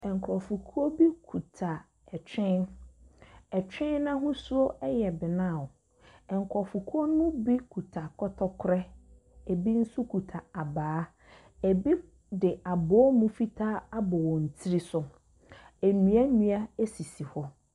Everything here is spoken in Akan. Nkurɔfokuo bi kuta ɔtwe. Ɔtwe no ahosuo yɛ brown. Nkurɔfokuo no mu bi kuta kɔtɔkorɛ, ebi nso kuta abaa, ebi de abɔwomu fitaa abɔ wɔn tiri so. Nnua nnua sisi hɔ.